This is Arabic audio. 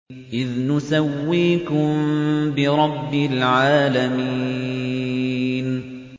إِذْ نُسَوِّيكُم بِرَبِّ الْعَالَمِينَ